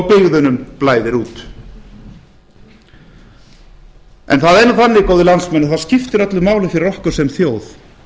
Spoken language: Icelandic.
byggðunum blæðir út það er nú þannig góðir landsmenn að það skiptir öllu máli fyrir okkur sem þjóð